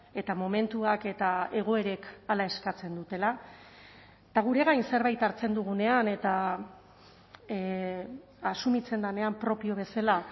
eta momentuak eta egoerek hala eskatzen dutela eta gure gain zerbait hartzen dugunean eta asumitzen denean propio bezala